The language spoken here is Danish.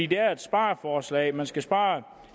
det er jo et spareforslag man skal spare